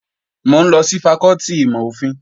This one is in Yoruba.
Mò ń lọ sí fakọ́tì ìmọ̀-òfin